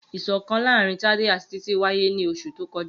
Iṣọkan laarin Tade ati Titi waye ni oṣu to kọja.